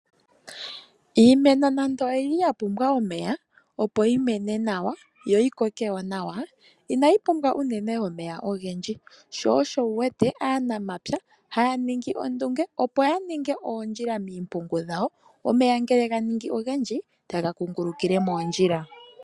Iimeno nando oyili ya pumbwa omeya opo yimene nawa, yo yikoke wo nawa inayi pumbwa unene omeya ogendji. Sho osho wu wete aanamapya haya ningi ondunge opo ya ninge oondjila miimpungu yawo omeya ngele ganingi ogendji taga kungulukile moondjila.